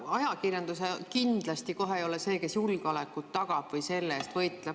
Ajakirjandus kohe kindlasti ei ole see, kes julgeolekut tagab või selle eest võitleb.